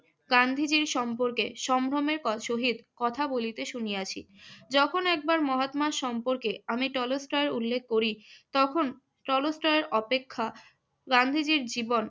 গান্ধীজীর সম্পর্কে সম্ভ্রমের ক~ সহিত কথা বলিতে শুনিয়াছি। যখন একবার মহাত্মা সম্পর্কে আমি টলস্টয় উল্লেখ করি তখন টলস্টয় অপেক্ষা গান্ধীজীর জীবন